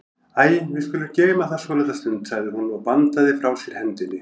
Æi, við skulum geyma það svolitla stund, sagði hún og bandaði frá sér hendinni.